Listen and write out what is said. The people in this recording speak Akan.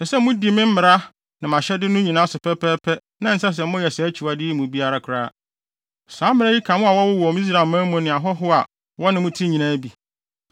Ɛsɛ sɛ mudi me mmara ne mʼahyɛde no nyinaa so pɛpɛɛpɛ na ɛnsɛ sɛ moyɛ saa akyiwade yi mu bi koraa. Saa mmara yi ka mo a wɔwoo mo Israelman mu ne ahɔho a wɔne mo te nyinaa bi.